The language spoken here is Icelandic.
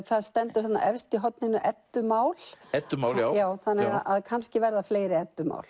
það stendur þarna efst í horninu þannig að kannski verða fleiri